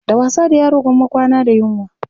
Da wasa da yaro gwamma kwana da yunwa.